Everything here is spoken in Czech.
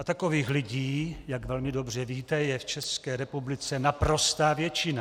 A takových lidí, jak velmi dobře víte, je v České republice naprostá většina.